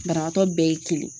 Banabagatɔ bɛɛ ye kelen ye